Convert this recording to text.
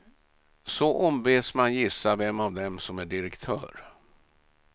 Så ombeds man gissa vem av dem som är direktör.